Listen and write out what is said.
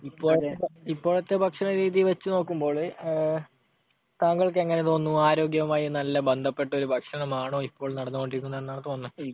ഇപ്പോഴത്തെ ഭക്ഷണരീതി വച്ചു നോക്കുമ്പോഴ് താങ്കൾക്ക് എങ്ങനെ തോന്നുന്നു? ആരോഗ്യവുമായി നല്ല ബന്ധപ്പെട്ട ഒരു ഭക്ഷണമാണോ ഇപ്പോൾ നടന്നുകൊണ്ടിരിക്കുന്നത് എന്നാണോ തോന്നുന്നത്?